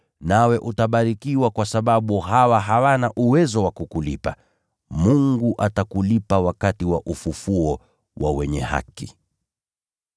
nawe utabarikiwa kwa sababu hawa hawana uwezo wa kukulipa. Mungu atakulipa wakati wa ufufuo wa wenye haki.”